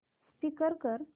skip कर